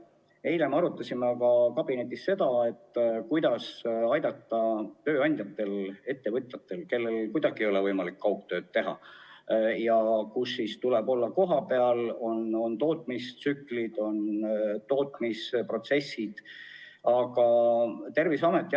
Eile me arutasime kabinetis aga seda, kuidas aidata tööandjaid-ettevõtjaid, kellel kuidagi ei ole võimalik kaugtööd võimaldada, ja töötajatel tuleb olla kohapeal, sest tootmistsüklid ja -protsessid.